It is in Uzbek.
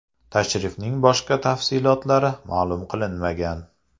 Tashrifning boshqa tafsilotlari ma’lum qilinmagan.